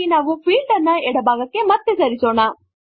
ಹಾಗಾಗಿ ನಾವು ಈ ಫೀಲ್ಡ್ ಅನ್ನು ಎಡ ಭಾಗಕ್ಕೆ ಮತ್ತೆ ಸರಿಸೋಣ